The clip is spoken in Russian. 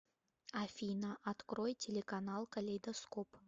афина открой телеканал калейдоскоп